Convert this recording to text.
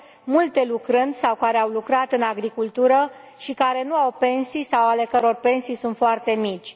multe lucrând sau care au lucrat în agricultură și care nu au pensii sau ale căror pensii sunt foarte mici.